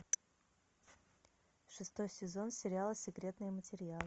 шестой сезон сериала секретные материалы